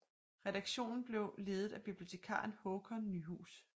Redaktionen blev ledet af bibliotekaren Haakon Nyhuus